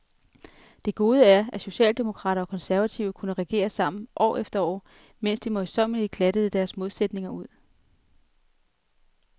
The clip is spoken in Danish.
Det gode er, at socialdemokrater og konservative kunne regere sammen, år efter år, mens de møjsommeligt glattede deres modsætninger ud.